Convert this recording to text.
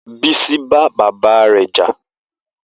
Bisi bá bàbá rẹ̀ jà